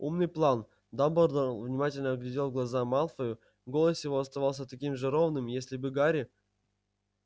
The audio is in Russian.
умный план дамблдор внимательно глядел в глаза малфою голос его оставался таким же ровным если бы гарри